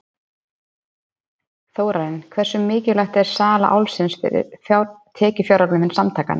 Þórarinn, hversu mikilvæg er sala Álfsins fyrir tekjuöflun samtakanna?